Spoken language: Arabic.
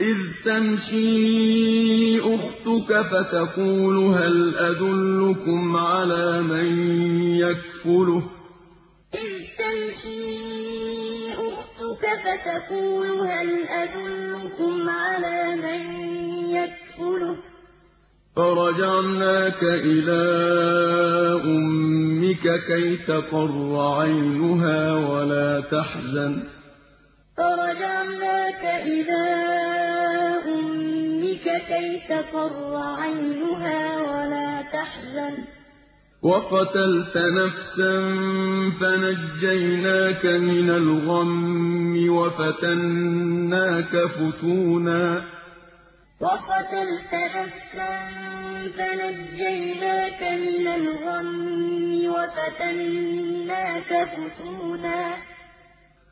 إِذْ تَمْشِي أُخْتُكَ فَتَقُولُ هَلْ أَدُلُّكُمْ عَلَىٰ مَن يَكْفُلُهُ ۖ فَرَجَعْنَاكَ إِلَىٰ أُمِّكَ كَيْ تَقَرَّ عَيْنُهَا وَلَا تَحْزَنَ ۚ وَقَتَلْتَ نَفْسًا فَنَجَّيْنَاكَ مِنَ الْغَمِّ وَفَتَنَّاكَ فُتُونًا ۚ